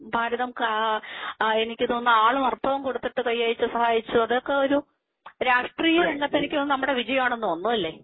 ഭാരതം എനിക്ക് തോന്നുന്നു ആളും അർത്ഥവും കൊടുത്തിട്ട് കൈയയച്ച് സഹായിച്ച് അതൊക്കെ ഒരു രാഷ്ട്രീയ രംഗത്ത് എനിക്ക് തോന്നുന്നു നമ്മുടെ വിജയമാണെന്ന് തോന്നുന്നു അല്ലേ.